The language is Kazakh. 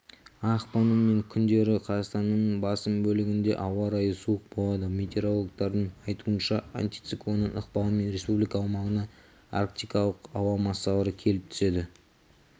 ақпанның мен күндері қазақстанның басым бөлігінде ауа райы суық болады метеорологтардың айтуынша антициклонның ықпалымен республика аумағына арктикалық ауа массалары келіп түседі